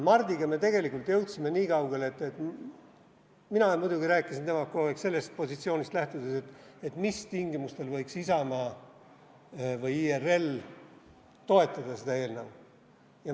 Mardiga me tegelikult jõudsime niikaugele, et mina muidugi rääkisin temaga kogu aeg sellest positsioonist lähtudes, et mis tingimustel võiks Isamaa või IRL seda eelnõu toetada.